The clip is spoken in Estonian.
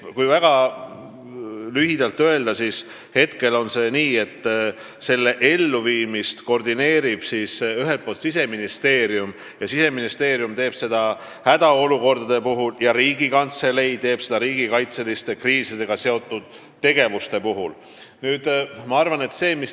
Kui väga lühidalt öelda, siis hetkel on ette nähtud, et kontseptsiooni elluviimist koordineerib ühelt poolt Siseministeerium, kes teeb seda hädaolukordade puhul, ja teiselt poolt Riigikantselei, kes vastutab riigikaitseliste kriisidega seotud tegevuste eest.